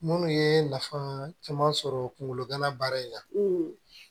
Minnu ye nafa caman sɔrɔ kungolo gana baara in na